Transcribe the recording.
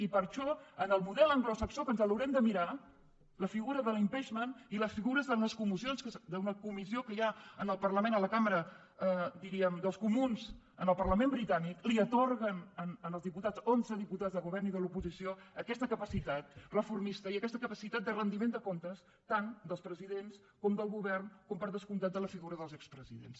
i per això en el model anglosaxó que ens l’haurem de mirar la figura de l’impeachment i les figures d’una comissió que hi ha en la cambra dels comuns en el parlament britànic atorguen als diputats onze diputats del govern i de l’oposició aquesta capacitat reformista i aquesta capacitat de rendiment de comptes tant dels presidents com del govern com per descomptat de la figura dels expresidents